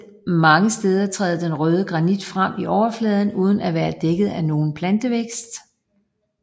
Mange steder træder den røde granit frem i overfladen uden at være dækket af nogen plantevækst